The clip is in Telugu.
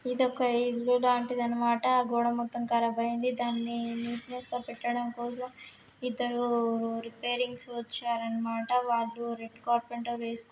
ఇదొక ఇల్లు లాంటిది అన్నమాట ఆ గోడ మొత్తం కరాబ్ అయింది దాని నీటినెస్ గా పెట్టడం కోసం ఇద్దరూ రేపాయిరింగ్స్ వచ్చారన్నమాట వాళ్ళు రెడ్ కర పాయింట్ వేసు--